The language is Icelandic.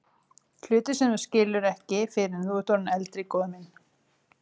Hluti sem þú skilur ekki fyrr en þú ert orðinn eldri, góði minn.